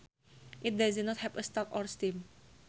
It does not have a stalk or stim